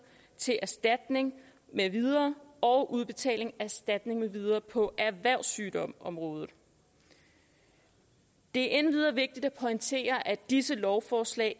til erstatning med videre og udbetaling af erstatning med videre på erhvervssygdomsområdet det er endvidere vigtigt at pointere at disse lovforslag